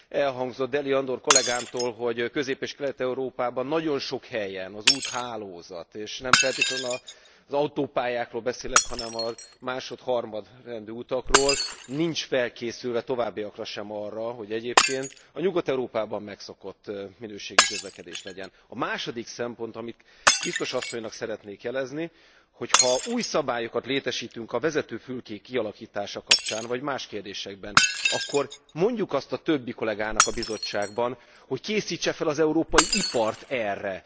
Elhangzott Deli Andor kollégámtól, hogy Közép és Kelet Európában nagyon sok helyen az úthálózat és nem feltétlenül az autópályákról beszélek, hanem a másod harmadrendű utakról nincs felkészülve a továbbiakban sem arra, hogy egyébként a Nyugat Európában megszokott minőségű közlekedés legyen. A második szempont, amit Biztos Asszonynak szeretnék jelezni, hogy ha új szabályokat létesítünk a vezetőfülkék kialakítása kapcsán, vagy más kérdésekben, akkor mondjuk azt a többi kollégának a Bizottságban, hogy készítse fel az európai ipart erre.